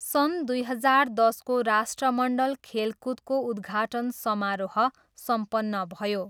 सन् दुई हजार दसको राष्ट्रमण्डल खेलकुदको उद्घाटन समारोह सम्पन्न भयो।